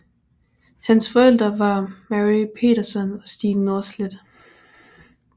Hans forældre var Mary Petersson og Stig Norstedt